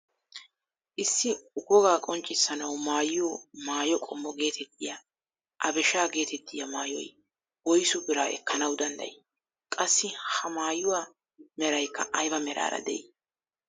Issi wogaa qonccisanawu maayiyoo maayo qommo getettiyaa abeshshaa getettiyaa maayoy woysu biraa ekkanawu danddayii? qassi ha maayuwaa meraykka ayba meraara de'ii?